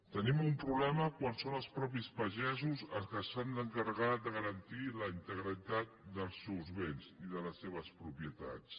tenim un problema quan són els mateixos pagesos els que s’han d’encarregar de garantir la integritat dels seus béns i de les seves propietats